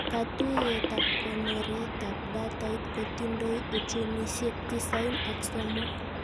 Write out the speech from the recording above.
Katuyetab konoretaab datait kotindoi uchumishek tisain ak somok